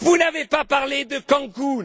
Vous n'avez pas parlé de Cancun.